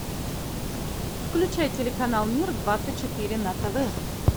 включай телеканал мир двадцать четыре на тв